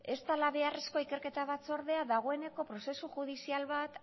ez dela beharrezkoa ikerketa batzordea dagoeneko prozesu judizial bat